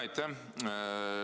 Aitäh!